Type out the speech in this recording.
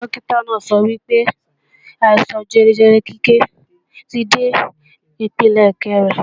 Dókítà náà sọ wípé, àìsàn jẹjẹrẹ Kíkẹ́ ti dé ipele kẹ́rin